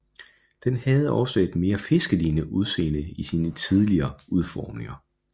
Den havde også et meget mere fiskelignende udseende i sine tidlige udformninger